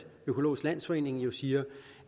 økologisk landsforening jo siger